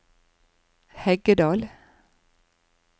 Heggedal